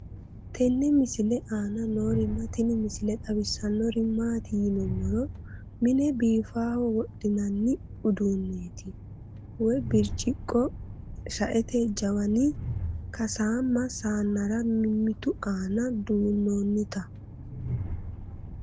tenne misile aana noorina tini misile xawissannori maati yinummoro mine biiffaho wodhinanni uduunnetti wayi biricciqo shaette jawanni kasaamme saannera mimittu aanna duunnonitta